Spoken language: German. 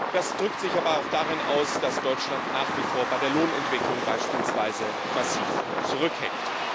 Das drückt sich aber auch darin aus, dass Deutschland nach wie vor bei der Lohnentwicklung beispielsweise massiv zurückhängt.